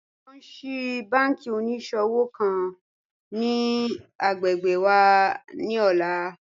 Wọn ń ṣíí bànkí oníṣọ̀wọ̀ kan ni agbẹ́gbẹ́ wà ni ọ̀lá